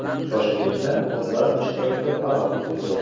Toshkentda otlar ishtirokida parad o‘tkazildi .